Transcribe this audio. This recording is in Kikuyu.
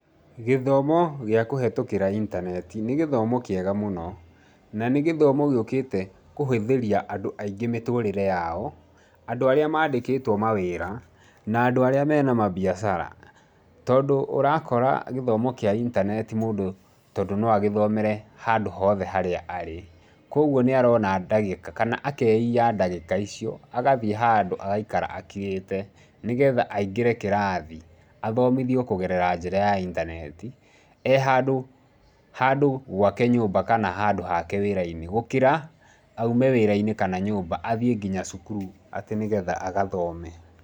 Gĩthomo gĩa kũhetũkĩra intaneti nĩ gĩthomo kĩega mũno, na nĩ gĩthomo gĩũkĩte kũhũthĩria andũ aingĩ mĩtũrĩre yao, andũ arĩa mandĩkĩtwo mawĩra na andũ arĩa mena mabiacara tondũ ũrakora gĩthomo kĩa intaneti mũndũ tondũ no agĩthomere handũ hothe harĩa arĩ. Koguo nĩ arona ndagĩka kana akeia ndagĩka icio agathiĩ handũ agaikara akirĩte nĩgetha aingĩre kĩrathi athomithio kũgerera njĩra ya intaneti ee handũ handũ gwake nyũmba kana handũ hake wĩra-inĩ gũkĩra aume wĩra-inĩ kana nyũmba athiĩ nginya cukuru atĩ nĩgetha agathome.